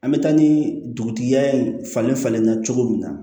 An bɛ taa ni dugutigiya ye falen falen na cogo min na